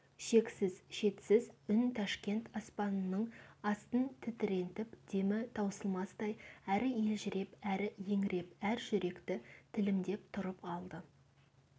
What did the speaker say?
шексіз шетсіз үн ташкент аспанының астын тітірентіп демі таусылмастай әрі елжіреп әрі еңіреп әр жүректі тілімдеп тұрып алды